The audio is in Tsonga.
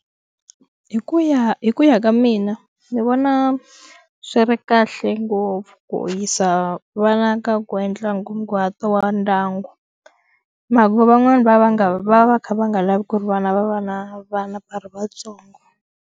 Hi ku ya hi ku ya ka mina ni vona swi ri kahle ngopfu ku yisa vana ka ku endla nkunguhato wa ndyangu mhaka van'wani va va nga va va kha va nga lavi ku ri vana va va na vana va ri vatsongo.